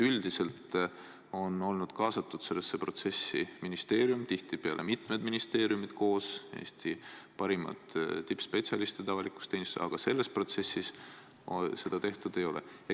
Üldiselt on sellistesse protsessidesse olnud kaasatud ministeerium, tihtipeale mitmed ministeeriumid koos Eesti parimate avaliku teenistuse tippspetsialistidega, aga selles protsessis seda tehtud ei ole.